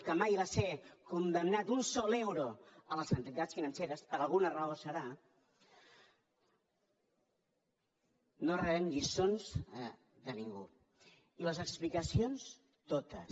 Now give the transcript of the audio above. que mai va ser condemnat un sol euro a les entitats financeres per alguna raó deu ser no rebem lliçons de ningú i les explicacions totes